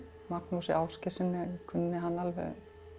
Magnúsi Ásgeirssyni kunni hann alveg